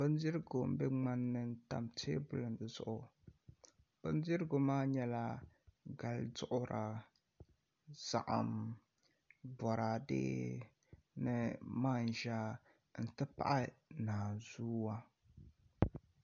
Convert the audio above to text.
Bindirigu n bɛ ŋmani ni n tam teebuli ŋo zuɣu bindirigu maa nyɛla gali duɣura saɣim boraadɛ ni manʒa n ti pahi naan zuwa